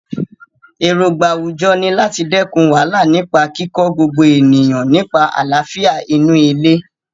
Èrògbà àwùjọ ni láti dẹ́kun wàhálà nípa kíkọ́ gbogbo ènìyàn nípa àlàáfíà inú ilé.